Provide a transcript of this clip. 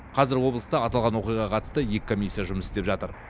қазір облыста аталған оқиғаға қатысты екі комиссия жұмыс істеп жатыр